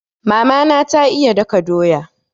Mama na ta iya daka doya.